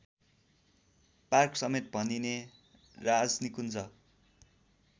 पार्कसमेत भनिने राजनिकुञ्ज